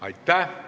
Aitäh!